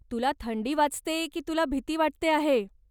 तुला थंडी वाजते की तुला भीती वाटते आहे?